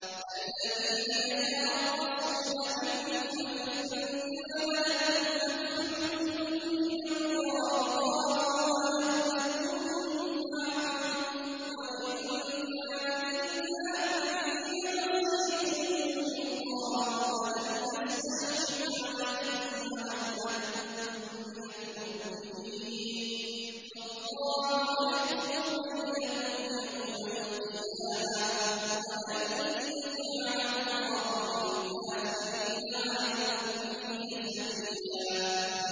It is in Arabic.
الَّذِينَ يَتَرَبَّصُونَ بِكُمْ فَإِن كَانَ لَكُمْ فَتْحٌ مِّنَ اللَّهِ قَالُوا أَلَمْ نَكُن مَّعَكُمْ وَإِن كَانَ لِلْكَافِرِينَ نَصِيبٌ قَالُوا أَلَمْ نَسْتَحْوِذْ عَلَيْكُمْ وَنَمْنَعْكُم مِّنَ الْمُؤْمِنِينَ ۚ فَاللَّهُ يَحْكُمُ بَيْنَكُمْ يَوْمَ الْقِيَامَةِ ۗ وَلَن يَجْعَلَ اللَّهُ لِلْكَافِرِينَ عَلَى الْمُؤْمِنِينَ سَبِيلًا